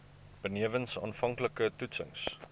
benewens aanvanklike toetsings